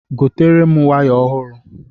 Gotere m waya ọhụrụ!